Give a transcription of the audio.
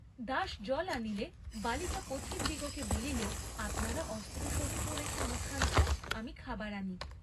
দাস জল আনিলে বালিকা পথিকদিগকে বলিল, আপনারা অস্ত্র শস্ত্র রেখে মুখ হাত ধুন, আমি খাবার আনি।